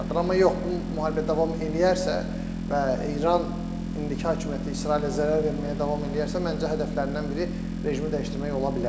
Amma yox, bu müharibə davam eləyərsə və İran indiki hakimiyyəti İsrailə zərər verməyə davam eləyərsə, məncə hədəflərindən biri rejimi dəyişdirmək ola bilər.